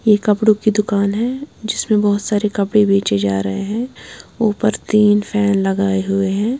यह कपड़ों की दुकान है जिसमें बहुत सारे कपड़े बेचे जा रहे हैं ऊपर तीन फैन लगाए हुए हैं।